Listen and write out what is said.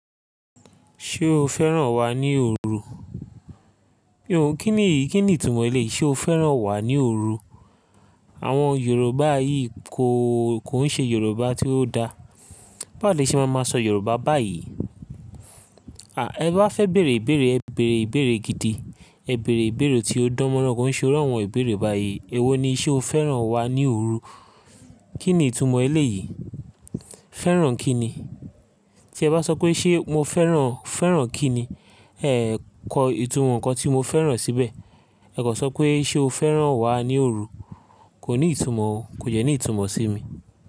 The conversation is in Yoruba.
Ṣé o fẹ́ràn wá ní òru? Kí ni ìkíni ìtumọ̀ ẹlẹ́yii, ṣe o fẹ́ràn wá ní òru? Àwọn Yorùbá yìí kò, kò ń ṣe Yorùbá tí ó dá. Bawo lè ṣe máa máa sọ Yorùbá báyìí. Àá, ẹ bá fẹ́ bèèrè ìbèèrè, ẹ bèèrè ìbèèrè gidi. Ẹ bèèrè ìbèèrè tí ó dánmọ́rán. Kò n ṣe irú àwọn ìbèèrè báyìí. Èwo ni ṣé o fẹ́ràn wá ní òru? Kí ni ìtumọ̀ ẹlẹ́ yìí? Fẹ́ràn kí ni? Tí ẹ bá sọ pé ṣé mo fẹ́ràn, fẹ́ràn kí ni? Ẹ kọ ìtumọ̀ ǹkan tí mo fẹ́ràn síbẹ̀. Ẹ kò sọ pé ṣé o fẹ́ràn wá ní òru. Kò ní ìtumọ̀ o, kò dẹ́ ní ìtumọ̀ sí mi.